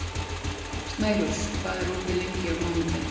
Snærós, hvað er opið lengi á mánudaginn?